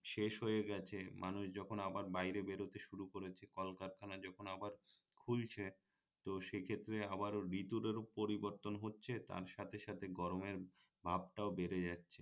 শেষ হয়ে গেছে মানুষ যখন আবার বাইরে বেরোতে শুরু করেছে কলকারখানা যখন আবার খুলছে তো সেক্ষেত্রে আবারো ঋতুরও পরিবর্তন হচ্ছে তার সাথে সাথে গরমের ভাবটাও বেড়ে যাচ্ছে